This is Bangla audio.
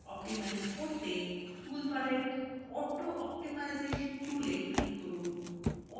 optimize করতে টুলবারের auto optimization tool এ click করুন